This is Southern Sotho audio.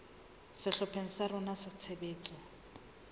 sehlopheng sa rona sa tshebetso